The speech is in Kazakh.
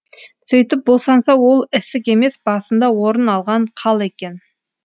сөйтіп босанса ол ісік емес басында орын алған қал екен